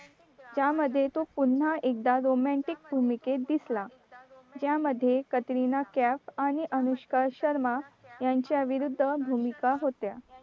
त्यामध्ये तो पुन्हा एकदा romantic भूमिकेत दिसला ज्यामध्ये कतरीना कैफ आणि अनुष्का शर्मा यांच्या विरुद्ध भूमिका होत्या